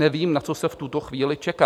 Nevím, na co se v tuto chvíli čeká.